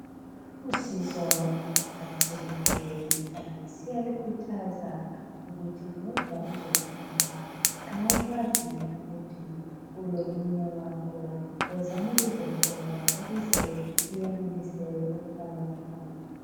Nxa usizwa uphathekile siyalikhuthaza ukuthi woza uzohlolwa. Nxa ukwazi ukuthi ulomunye wakho, wozani lizohlolwa ukuze liyenelise ukuba labantwana.